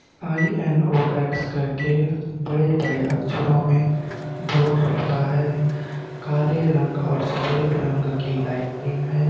आईएनऔएक्स कर के बड़े बड़े अक्षरों में बोर्ड लिखा हुआ है काले रंग और सफ़ेद रंग की लाइटनिंग है।